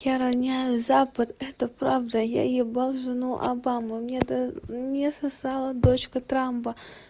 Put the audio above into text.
я роняю запад это правда я ебал жену обамы мне да мне сосала дочка трампа